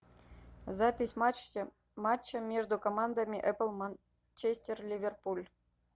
запись матча между командами апл манчестер ливерпуль